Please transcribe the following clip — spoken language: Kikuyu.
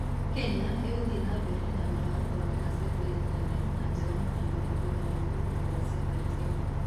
Kenya ĩgũthiĩ na mbere na wĩra wa gũthondeka Satellite nene na njega makĩria thutha wa kũrutwo kwa Satellite ĩyo.